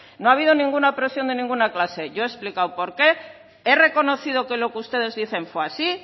no ha habido ninguna presión de ninguna clase yo he explicado por qué he reconocido que lo que ustedes dicen fue así